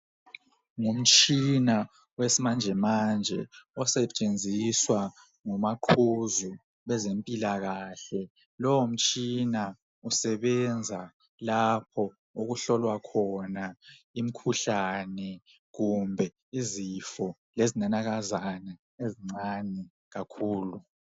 Ngumtshina owesimanjmanje osetshenziswa ngumaqhuzu bezempilakahle lowo mtshina usebenza lapho okuhlolwa khona imikhuhlane kumbe izifo lezi nanakazana ezincane kakhulu